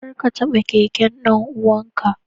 Kar ka taba keken dan uwanka.